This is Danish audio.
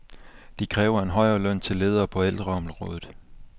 De kræver en højere løn til ledere på ældreområdet.